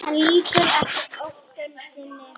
En lýkur ekki hótun sinni.